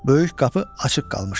Böyük qapı açıq qalmışdı.